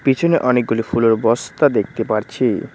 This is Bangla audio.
পিছনে অনেকগুলি ফুলের বস্তা দেখতে পারছি।